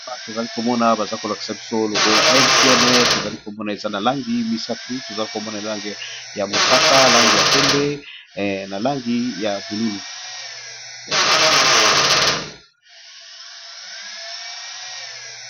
Awa tozali komona, baza kolakisa biso logo ya MTN. Tozali komona eza na langi misatu. Langi ya mosaka, langi ya pembe, na langi ya bululu.